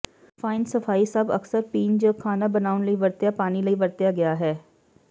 fine ਸਫਾਈ ਸਭ ਅਕਸਰ ਪੀਣ ਜ ਖਾਣਾ ਬਣਾਉਣ ਲਈ ਵਰਤਿਆ ਪਾਣੀ ਲਈ ਵਰਤਿਆ ਗਿਆ ਹੈ